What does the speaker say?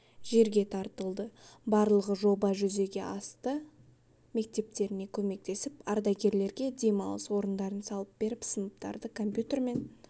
жерге тартылды барлығы жоба жүзеге асты мектептеріне көмектесіп ардагерлерге демалыс орындарын салып беріп сыныптарды компьютермен